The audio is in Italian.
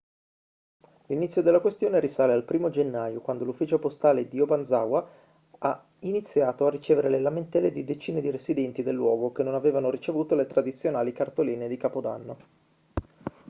l'inzio della questione risale al 1° gennaio quando l'ufficio postale di obanazawa ha iniziato a ricevere le lamentele di decine di residenti del luogo che non avevano ricevuto le tradizionali cartoline di capodanno